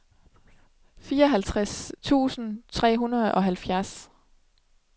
fireoghalvtreds tusind tre hundrede og halvfjerds